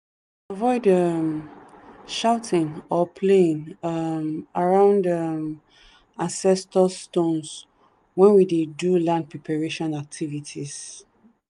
avoid um shouting or playing um around um ancestor stones when we dey do land preparation activities.